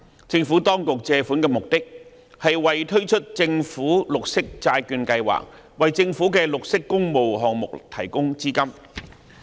政府當局借款的目的是為推出政府綠色債券計劃，為政府的綠色工務項目提供資金。